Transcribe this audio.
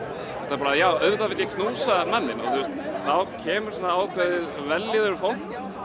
bara auðvitað vil ég knúsa manninn og þá kemur ákveðin vellíðun í fólk og